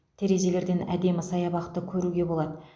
терезелерден әдемі саябақты көруге болады